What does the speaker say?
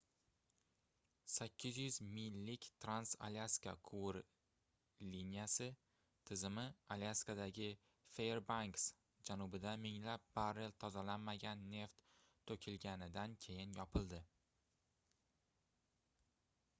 800 millik trans-alyaska quvur liniyasi tizimi alyaskadagi fairbanks janubida minglab barrel tozalanmagan neft toʻkilganidan keyin yopildi